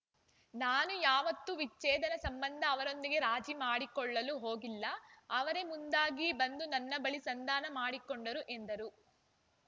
ನಾನು ಯಾವತ್ತೂ ವಿಚ್ಛೇದನ ಸಂಬಂಧ ಅವರೊಂದಿಗೆ ರಾಜಿ ಮಾಡಿಕೊಳ್ಳಲು ಹೋಗಿಲ್ಲ ಅವರೇ ಮುಂದಾಗಿ ಬಂದು ನನ್ನ ಬಳಿ ಸಂಧಾನ ಮಾಡಿಕೊಂಡರು ಎಂದರು